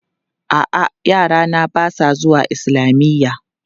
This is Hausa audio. A'a, yarana ba su zuwa islamiyya.